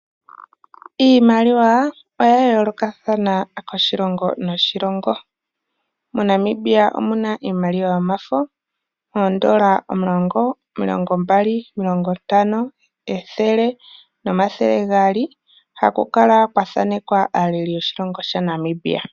Iimaliwa oya yoolokathana koshilongo noshilongo moNamibia omuna iimaliwa yomafo oondola omulongo, omilongo mbali, omilongo ntano, ethele nomathele gaali haku kala kwa thanekwa aaleli yoshilongo shaNamibia.